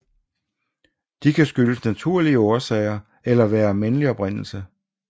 De kan skyldes naturlige årsager eller være af menneskelig oprindelse